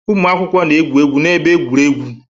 Ụmụ akwụkwọ na-egwu egwu n'ebe egwuregwu.